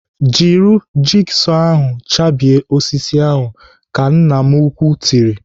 "Jiri jigsọ ahụ chabie osisi ahụ." Ka nna m ukwuu tiri.